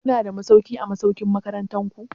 Kuna da masauki a masaukin makarantu?